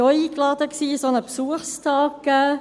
Ich denke, viele von Ihnen waren auch eingeladen.